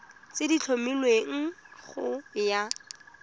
tse di tlhomilweng go ya